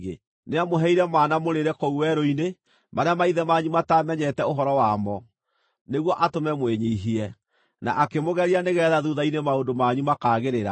Nĩamũheire mana mũrĩĩre kũu werũ-inĩ, marĩa maithe manyu mataamenyete ũhoro wamo, nĩguo atũme mwĩnyiihie, na akĩmũgeria nĩgeetha thuutha-inĩ maũndũ manyu makaagĩrĩra.